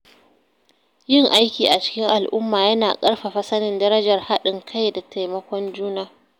Yin aiki a cikin al’umma yana ƙarfafa sanin darajar haɗin kai da taimakon juna.